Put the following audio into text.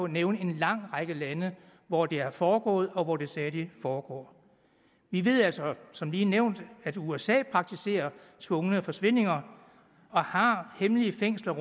nævne en lang række lande hvor det har foregået og hvor det stadig foregår vi ved altså som lige nævnt at usa praktiserer tvungne forsvindinger og har hemmelige fængsler